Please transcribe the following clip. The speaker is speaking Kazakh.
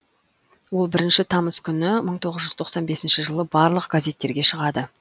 ол бірінші тамыз күні мың тоғыз жүз тоқсан бесінші жылы барлық газеттерге шығады